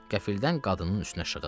Qəfildən qadının üstünə şığıdı.